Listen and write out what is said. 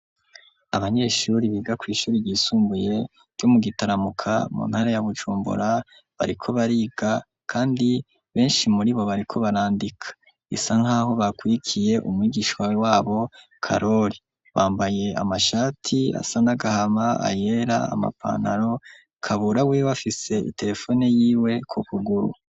Abanyeshuri biga kw'ishuri ryisumbuye ryo mu gitaramuka mu ntara ya bujumbura bariko bariga kandi benshi muri bo bariko barandika isa nk'aho bakwiikiye umwigishwa wabo karoli bambaye amashati asa n'agahama ayera amapanaro kaburawe bafise iterefone y'iwe ku kuguru.